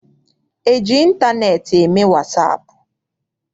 E ji ịntaneetị eme wasaapụ?